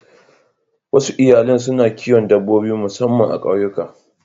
Wasu iyalan suna kiwon dabbobi musamman a ƙauyuka.